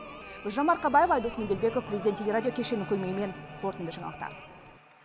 гүлжан марқабаева айдос меделбеков президент телерадио кешенінің көмегімен қорытынды жаңалықтар